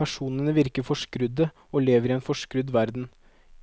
Personene virker forskrudde og lever i en forskrudd verden,